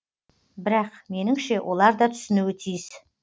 бірақ меніңше олар да түсінуі тиіс